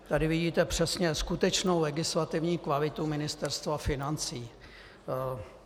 Tady vidíte přesně skutečnou legislativní kvalitu Ministerstva financí.